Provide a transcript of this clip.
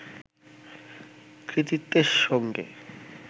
কৃতিত্বের সঙ্গে